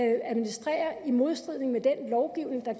administrere i modstrid med den lovgivning der